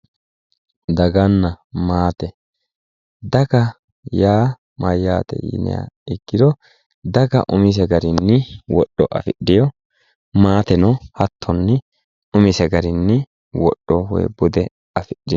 Daganna maate, daga yaa mayate yinniha ikkiro daga umise garinni wodho afidhino maateno hattonni umise garinni wodho woyi bude afidhino.